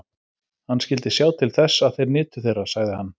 Hann skyldi sjá til þess, að þeir nytu þeirra, sagði hann.